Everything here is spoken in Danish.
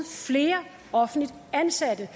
flere offentligt ansatte